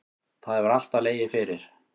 Það hefur alltaf legið fyrir